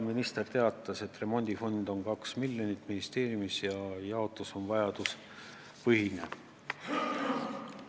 Minister teatas, et remondifondi suurus ministeeriumis on 2 miljonit ja raha jaotus on vajaduspõhine.